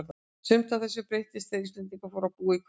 Sumt af þessu breyttist þegar Íslendingar fóru að búa í hverfunum.